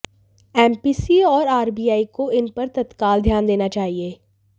MPC और RBI को इन पर तत्काल ध्यान देना चाहिए